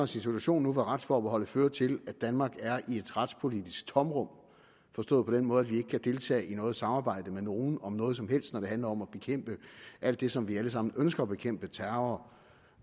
situation hvor retsforbeholdet fører til at danmark er i et retspolitisk tomrum forstået på den måde at vi ikke kan deltage i noget samarbejde med nogen om noget som helst når det handler om at bekæmpe alt det som vi alle sammen ønsker at bekæmpe terror